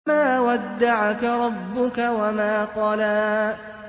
مَا وَدَّعَكَ رَبُّكَ وَمَا قَلَىٰ